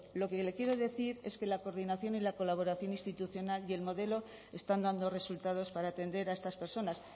lo que le quiero decir es que la coordinación y la colaboración institucional y el modelo están dando resultados para atender a estas personas